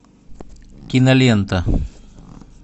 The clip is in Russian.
кинолента